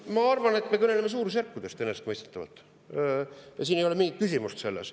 Ma arvan, et me kõneleme enesestmõistetavalt suurusjärkudest, selles ei ole mingit küsimust.